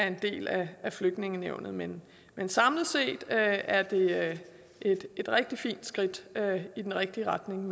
en del af flygtningenævnet men men samlet set er det et rigtig fint skridt i den rigtige retning